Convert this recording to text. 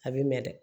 A bɛ mɛn dɛ